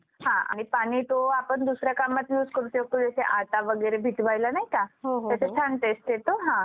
हा आणि पाणी तो आपण दुसऱ्या कामात use करू शकतो जसे आटा वगैरे भिजवायला नाय का. तसं सांगतेच तेच अ हा